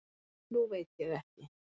Nú veit ég ekki.